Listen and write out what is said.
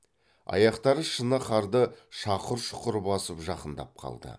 аяқтары шыны қарды шақыр шұқыр басып жақындап қалды